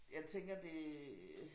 Jeg tænker det